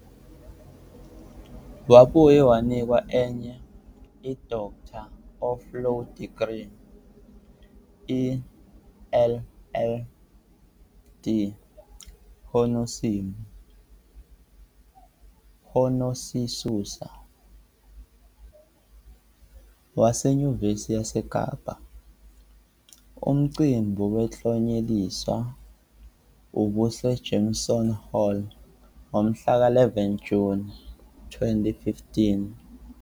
Wabuye wanikezwa enye i-Doctor of Laws degree, i-LL. D., "honisisusa", waseNyuvesi yaseKapa, umcimbi wokuklonyeliswa ubuseJameson Hall ngomhlaka 11 Juni 2015.